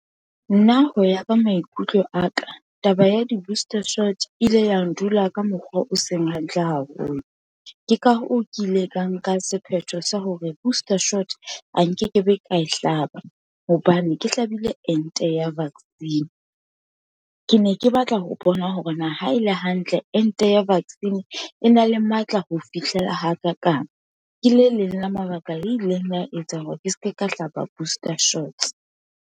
Nna, ho ya ka maikutlo aka, taba ya di-booster shots e ile ya ndula ka mokgwa o seng hantle haholo. Ke ka hoo, ke ile ka nka sephetho sa hore booster shots a nkekebe ka e hlaba, hobane ke hlabile ente ya vaccine, ke ne ke batla ho bona hore na ha e le hantle ente ya vaccine, e na le matla ho fihlela hakakang. Ke le leng la mabaka le ileng la etsang hore ke seke ka hlaba booster shots.